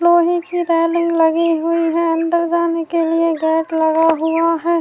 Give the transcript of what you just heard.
لوہے کی ریلنگ لگی ہوئی ہے اندر جانے کے لیے گیٹ لگا ہوا ہے-